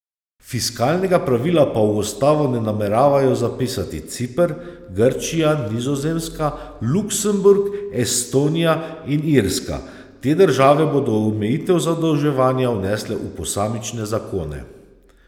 Fiskalnega pravila pa v ustavo ne nameravajo zapisati Ciper, Grčija, Nizozemska, Luksemburg, Estonija in Irska, te države bodo omejitev zadolževanja vnesle v posamične zakone.